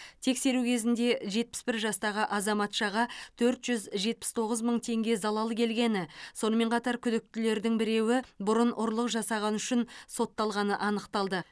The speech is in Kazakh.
тексеру кезінде жетпіс бір жастағы азаматшаға төрт жүз жетпіс тоғыз теңге залал келгені сонымен қатар күдіктілердің біреуі бұрын ұрлық жасағаны үшін сотталғаны анықталды